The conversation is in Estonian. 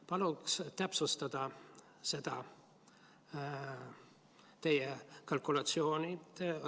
Palun täpsustada seda teie kalkulatsiooni.